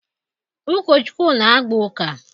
Ụkọchukwu na-agba uka.